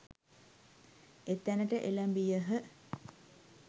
එතැනට එළැඹියහ